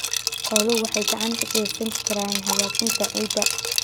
Xooluhu waxay gacan ka geysan karaan hagaajinta ciidda.